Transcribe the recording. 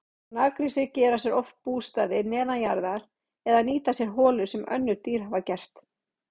Naggrísir gera sér oft bústaði neðanjarðar eða nýta sér holur sem önnur dýr hafa gert.